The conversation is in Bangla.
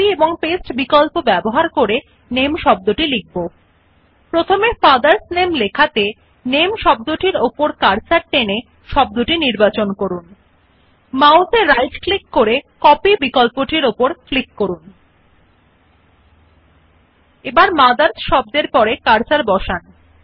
আমরা এখন টেক্সট মথার্স নামে থেকে শব্দটি কি নামে মুছে ফেলা এবং শব্দ নামে অনুলিপি এবং প্রতিলেপন করা বিকল্পগুলি ব্যবহার করে লেখা now we delete the word name from the text mothers name and rewrite the word name using copy and paste options In the text fathers name first select the word name by dragging the cursor along the word NAME এখন ডান মাউস ক্লিক করে কপি বিকল্প উপর ক্লিক করুন